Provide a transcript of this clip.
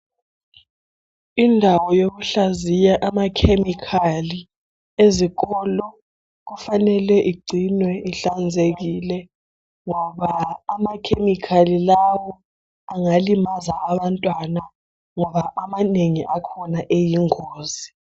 Indawo yokuhlaziya amakhemikhali ezikolo kufanele igcinwe ihlanzekile. Nqoba amakhemikhali lawa amanengi akhona ayingozi.